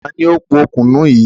Ta ni ó pò kùnú yìí?